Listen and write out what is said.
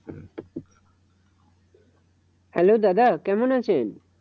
Hello দাদা কেমন আছেন?